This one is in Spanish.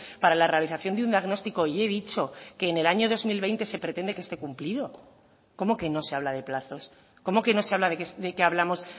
para la realización de un diagnostico y he dicho que en el año dos mil veinte se pretende que este cumplido cómo que no se habla de plazos cómo que no se habla de que hablamos